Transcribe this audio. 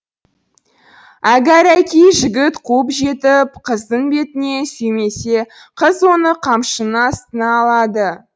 әгәрәки жігіт қуып жетіп қыздың бетінен сүймесе қыз оны қамшының астына алады